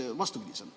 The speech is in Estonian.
Miks vastupidiselt?